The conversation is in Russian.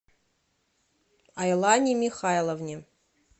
айлане михайловне